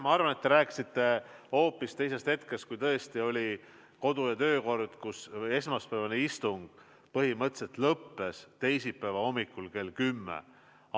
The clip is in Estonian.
Ma arvan, et te rääkisite hoopis teisest hetkest, kui tõesti oli kodu- ja töökorras lubatud, et esmaspäevane istung põhimõtteliselt võis lõppeda teisipäeva hommikul kell 10.